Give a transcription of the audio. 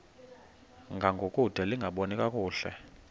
ngangokude lingaboni kakuhle